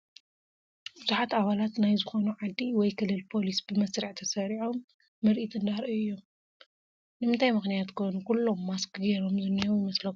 ብዙሓት ኣባላት ናይ ዝኾኑ ዓዲ ወይ ክልል ፖሊስ ብመስርዕ ተሰሪፆም ምርኢት እንዳርኣዩ እዮም፡፡ ንምንታይ ምኽንያት ኮን ኩሎም ማስክ ጌሮም ዝኒሄው ይመስለኩም?